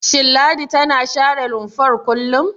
Shin Ladi tana share rumfar kullum?